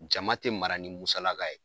Jama tɛ mara ni musalaka ye.